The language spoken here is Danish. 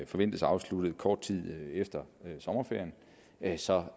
forventes afsluttet kort tid efter sommerferien at vi så